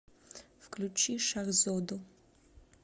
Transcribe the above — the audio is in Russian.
включи шахзоду